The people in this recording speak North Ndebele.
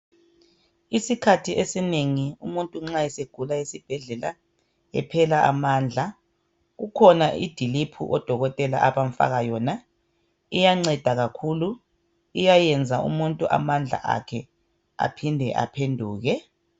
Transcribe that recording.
Isikhathi esinengi umuntu nxa esegula esibhedlela ephela amandla, kukhona idiliphu odokotela abamfaka yona. Iyanceda kakhulu. Iyayenza umuntu amandla akhe aphinde aphenduke.